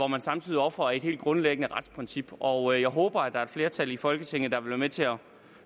man samtidig ofrer et helt grundlæggende retsprincip og jeg håber at der er et flertal i folketinget der vil være med til at